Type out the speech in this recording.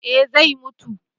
eh zai mutu